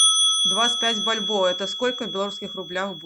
двадцать пять бальбоа это сколько в белорусских рублях